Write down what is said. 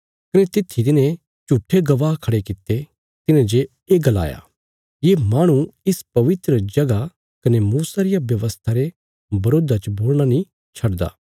कने तित्थी तिन्हें झूट्ठे गवाह खड़े कित्ते तिन्हें जे ये गलाया ये माहणु इस पवित्र जगह कने मूसा रिया व्यवस्था रे बरोधा च बोलणा नीं छड्दा